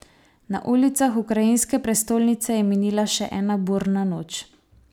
Na ulicah ukrajinske prestolnice je minila še ena burna noč.